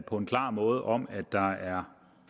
på en klar måde om at der er